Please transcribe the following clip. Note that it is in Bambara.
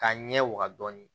K'a ɲɛ waga dɔɔni